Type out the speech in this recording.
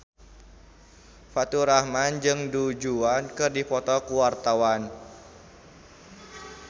Faturrahman jeung Du Juan keur dipoto ku wartawan